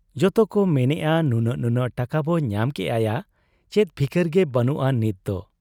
ᱡᱚᱛᱚᱠᱚ ᱢᱮᱱᱮᱜ ᱟ ᱱᱩᱱᱟᱹᱜ ᱱᱩᱱᱟᱹᱜ ᱴᱟᱠᱟᱵᱚ ᱧᱟᱢ ᱠᱮᱜ ᱟ ᱭᱟ ᱪᱮᱫ ᱯᱷᱤᱠᱤᱨ ᱜᱮ ᱵᱟᱹᱱᱩᱜ ᱟ ᱱᱤᱛᱫᱚ ᱾